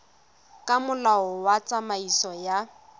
ka molao wa tsamaiso ya